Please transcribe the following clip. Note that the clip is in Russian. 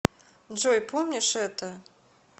джой помнишь это